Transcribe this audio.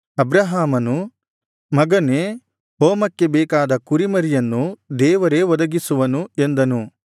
ಅಬ್ರಹಾಮನು ಮಗನೇ ಹೋಮಕ್ಕೆ ಬೇಕಾದ ಕುರಿಮರಿಯನ್ನು ದೇವರೇ ಒದಗಿಸುವನು ಎಂದನು